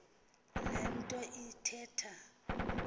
le nto ithetha